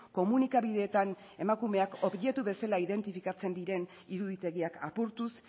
komunikabideetan emakumeak objektu bezala identifikatzen diren iruditegiak apurtuz